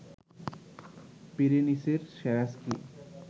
পিরেনিসের সেরা স্কি